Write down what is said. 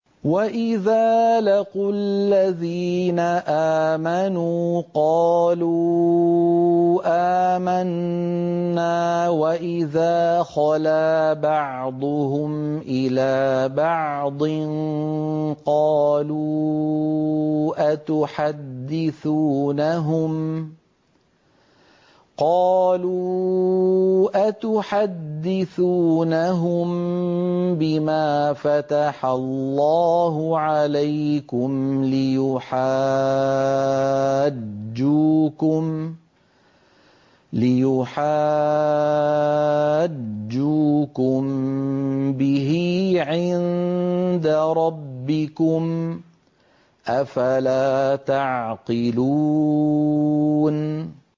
وَإِذَا لَقُوا الَّذِينَ آمَنُوا قَالُوا آمَنَّا وَإِذَا خَلَا بَعْضُهُمْ إِلَىٰ بَعْضٍ قَالُوا أَتُحَدِّثُونَهُم بِمَا فَتَحَ اللَّهُ عَلَيْكُمْ لِيُحَاجُّوكُم بِهِ عِندَ رَبِّكُمْ ۚ أَفَلَا تَعْقِلُونَ